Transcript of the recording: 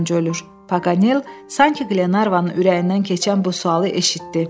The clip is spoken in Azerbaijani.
Paqanel sanki Qlenarvanın ürəyindən keçən bu sualı eşitdi.